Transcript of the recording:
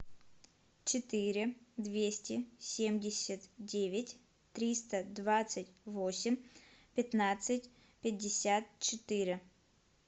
четыре двести семьдесят девять триста двадцать восемь пятнадцать пятьдесят четыре